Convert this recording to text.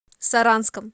саранском